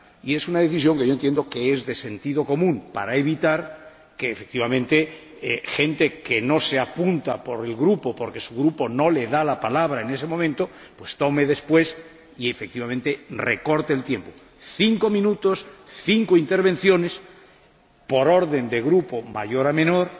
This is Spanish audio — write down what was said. Es una decisión que yo considero de sentido común, para evitar, efectivamente, que la gente que no se apunta por el Grupo, porque su Grupo no le da la palabra en ese momento, intervenga después, por lo que se recortó el tiempo cinco minutos para cinco intervenciones, por orden de Grupo, de mayor a menor,